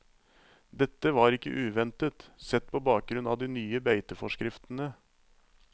Dette var ikke uventet, sett på bakgrunn av de nye beiteforskriftene.